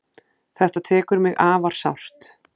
Þetta tekur mig afar sárt.